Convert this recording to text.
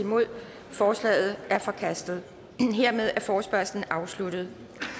forslaget er forkastet hermed er forespørgslen afsluttet